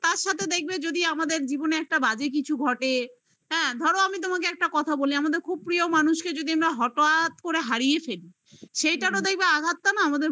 তার সাথে দেখবে যদি আমাদের জীবনে একটা বাজে কিছু ঘটে হ্যাঁ ধরো আমি তোমাকে একটা কথা বলি আমাদের খুব প্রিয় মানুষকে যদি আমরা হঠাৎ করে হারিয়ে ফেলি সেইটারও দেখবে আঘাতটা না